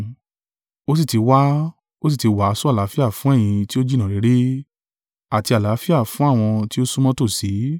Ó sì ti wá, ó sì ti wàásù àlàáfíà fún ẹ̀yin tí o jìnnà réré, àti àlàáfíà fún àwọn tí o súnmọ́ tòsí.